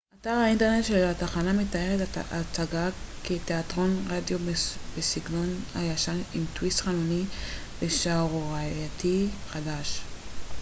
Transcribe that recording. אתר האינטרנט של התחנה מתאר את ההצגה כ תיאטרון רדיו בסגנון הישן עם טוויסט חנוני ושערורייתי חדש